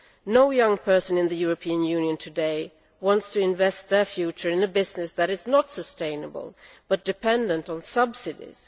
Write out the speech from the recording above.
No young person in the European Union today wants to invest their future in a business that is not sustainable but is dependent on subsidies